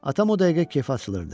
Atam o dəqiqə kef açılırdı.